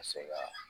Ka se ka